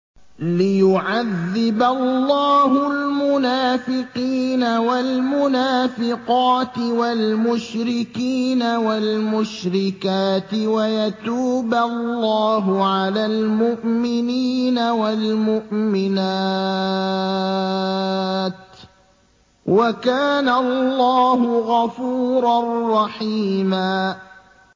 لِّيُعَذِّبَ اللَّهُ الْمُنَافِقِينَ وَالْمُنَافِقَاتِ وَالْمُشْرِكِينَ وَالْمُشْرِكَاتِ وَيَتُوبَ اللَّهُ عَلَى الْمُؤْمِنِينَ وَالْمُؤْمِنَاتِ ۗ وَكَانَ اللَّهُ غَفُورًا رَّحِيمًا